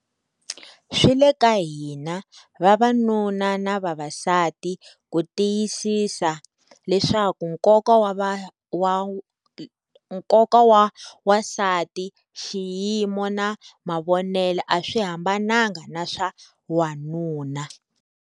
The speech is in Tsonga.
Swi le ka hina - vavanuna na vavasati - ku tiyisisa leswaku nkoka wa wansati, xiyimo na mavonelo a swi hambananga na swa wanuna.